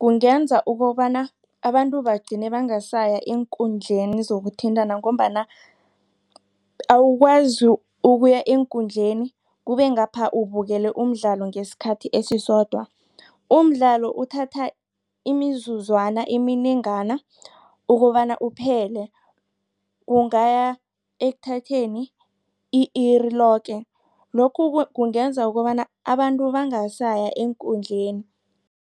kungenza ukobana abantu bagcine bangasaya eenkundleni zokuthintana ngombana ukuya eenkundleni kubengapha ubukele umdlalo ngesikhathi esisodwa. Umdlalo uthatha imizuzwana eminengana ukobana uphele kungaya ekuthatheni i-iri loke lokhu kungenza ukobana abantu bangasayi eenkundleni.